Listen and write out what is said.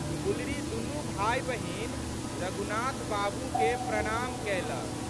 गुलरी दुनू भाइबहिन रघुनाथ बाबूकेँ प्रणाम कएलक।